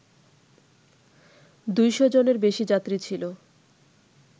দুইশজনের বেশি যাত্রী ছিল